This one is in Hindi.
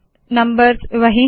नम्बर्स वही है